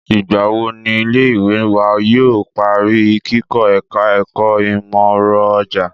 Ìgbà wo ni ilé ìwé wa yóò parí kikọ́ ẹ̀ka ẹ̀kọ́ ìmọọrọ̀ajé?